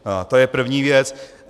To je první věc.